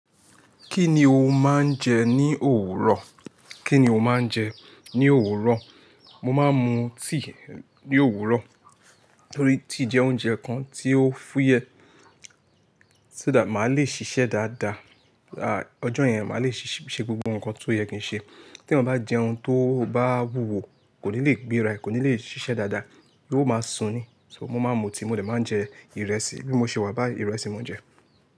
Kí ni o máa ń jẹ ní òwúrọ̀? Kí ni o máa ń jẹ ní òwúrọ̀? Mo máa ń mu tea ní òwúrọ̀ torí tea jẹ́ oúnjẹ kan tí ó fúyẹ́ so that màá le ṣiṣẹ́ dáadáa. Àá ọjọ́ yẹn màá le ṣe gbogbo nǹkan tó yẹ kí n ṣe. Tí èyàn bá jẹun tó bá wúwo kò ní lè gbé ra ẹ̀, kò ní lè siṣẹ́ dáadáa, yóo máa sùn ni. So mo máa ń mu tíì, mo dẹ̀ máa jẹ ìrẹsì bí mo ṣe wà báyìí ìrẹsì mò ń jẹ.